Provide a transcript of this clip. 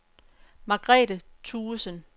Margrethe Thuesen